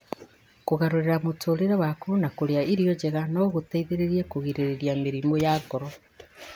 Kũgarũrĩra mũtũũrĩre waku na kũrĩa irio njega no gũgũteithie kũgirĩrĩria mĩrimũ ya ngoro.